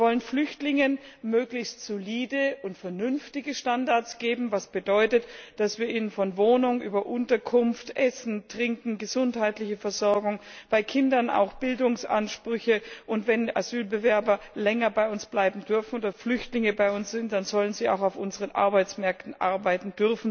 Wir wollen Flüchtlingen möglichst solide und vernünftige Standards geben, was bedeutet, dass wir ihnen von Wohnung über Unterkunft, Essen, Trinken, gesundheitliche Versorgung, bei Kindern auch Bildungsansprüche, gewährleisten, und wenn Asylbewerber länger bei uns bleiben dürfen oder Flüchtlinge bei uns sind, dann sollen sie auch auf unseren Arbeitsmärkten arbeiten